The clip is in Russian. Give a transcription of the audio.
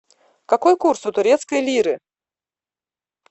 какой курс у турецкой лиры